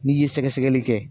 N'i ye sɛgɛsɛgɛli kɛ